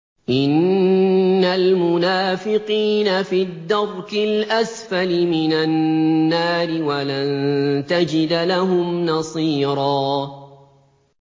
إِنَّ الْمُنَافِقِينَ فِي الدَّرْكِ الْأَسْفَلِ مِنَ النَّارِ وَلَن تَجِدَ لَهُمْ نَصِيرًا